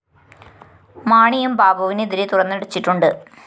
മാണിയും ബാബുവിന് എതിരെ തുറന്നടിച്ചിട്ടുണ്ട്